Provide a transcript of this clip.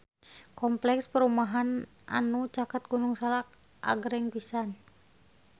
Kompleks perumahan anu caket Gunung Salak agreng pisan